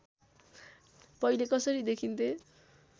पहिले कसरी देखिन्थे